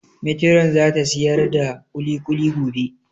Metiron za ta siyar da kulikuli gobe